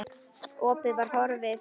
Opið var horfið.